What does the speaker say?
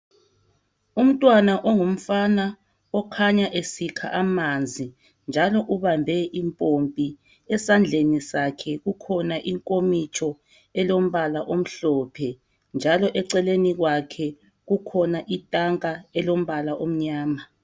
Umntwana ongumfana okhanya esikha amanzi njalo ubambe impompi esandleni sakhe kukhona inkomitsho elombala omhlophe njalo eceleni kwakhe kukhona itanka elombala omnyama.